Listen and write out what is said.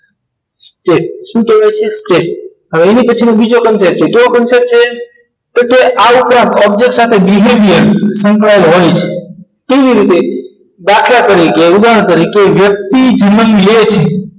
છે શું હવે એની પછી બીજો concept છે તો કે આ ઉપર object સાથે behaviour કેવી રીતે દાખલા તરીકે ઉદાહરણ તરીકે વ્યક્તિ